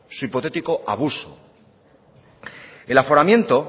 su hipotético abuso el aforamiento